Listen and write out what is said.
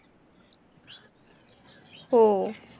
हो.